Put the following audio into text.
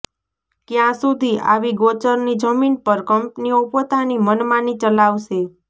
ક્યા સુધી આવી ગોચરની જમીન પર કંપનીઓ પોતાની મનમાની ચલાવશે